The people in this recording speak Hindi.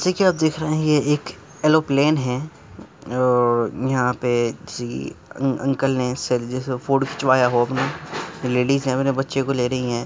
जैसे कि आप देख रहे है ये एक एरोप्लेन है और यहाँ पे जी अंकल है सर जेसे फोटो खिंचवाया हो अपना लेडिज है अपने बच्चे को ले रही है।